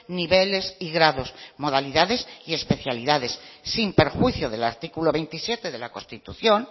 niveles y grados modalidades y especialidades sin perjuicio del artículo veintisiete de la constitución